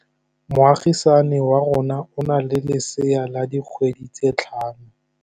Moagisane wa rona o na le lesea la dikgwedi tse tlhano.